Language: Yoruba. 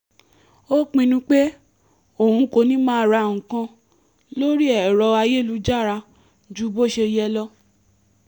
ó pinnu pé òun kò ní máa ra nǹkan lórí ẹ̀rọ ayélujára ju bó ṣe yẹ lọ